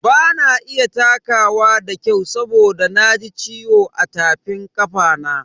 Bana iya takawa da kyau saboda na ji ciwo a tafin kafana.